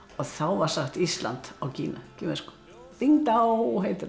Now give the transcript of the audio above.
þá var sagt Ísland á kínversku bing dao heitir það